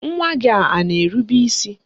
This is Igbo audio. Nwa gị a na-erube isi?